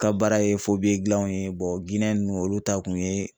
Ka baara ye dilanw ye ninnu olu ta kun ye